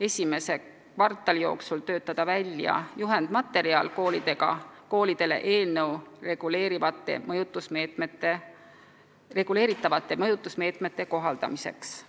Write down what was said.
esimese kvartali jooksul töötada välja juhendmaterjal koolidele uue seadusega reguleeritavate mõjutusmeetmete kohaldamiseks.